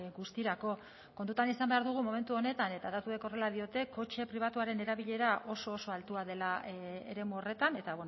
guztirako kontutan izan behar dugu momentu honetan eta datuek horrela diote kotxe pribatuaren erabilera oso oso altua dela eremu horretan eta